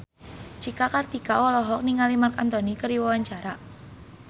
Cika Kartika olohok ningali Marc Anthony keur diwawancara